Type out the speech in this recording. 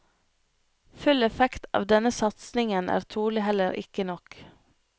Full effekt av denne satsingen er trolig heller ikke nok.